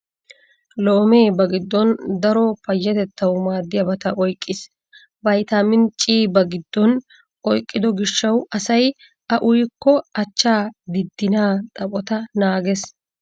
Loomee ba giddon daro payyatettawu maaddiyabata oyqqiis. Vaytaamini C ba giddon oyyqido gishshawu asay a uyikko achchaa diddinaa xaphota naagees.